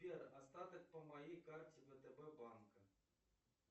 сбер остаток по моей карте втб банка